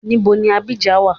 Ibo ni Abidjan wa?